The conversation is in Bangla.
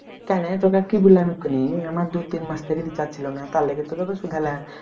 কেন তোকে কি বললাম এক্ষুনি আমার দু-তিন মাস থেকে চাইছিল না তার লেগে তোকে তো শুধালাম